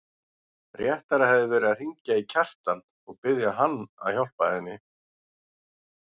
Réttara hefði verið að hringja í Kjartan og biðja hann að hjálpa henni.